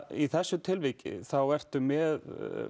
í þessu tilviki ertu með